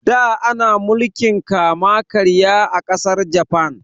Da ana mulkin kama karya a ƙasar Jafan